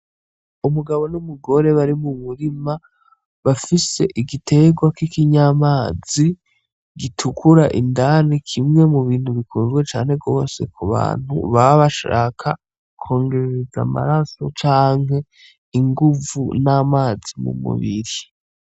Umugabo n' umugore bari mu murima bafise igitegwa kiki nyamazi gitukura indani kimwe mu bintu bikunzwe cane gose ku bantu baba bashaka kwongerereza amaraso canke inguvu n' amazi mu mubiri.